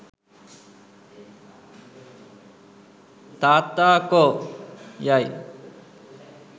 ''තාත්තා කෝ'' යයි